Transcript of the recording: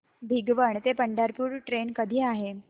भिगवण ते पंढरपूर ट्रेन कधी आहे